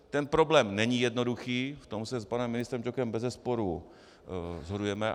Ten problém není jednoduchý, v tom se s panem ministrem Ťokem bezesporu shodujeme.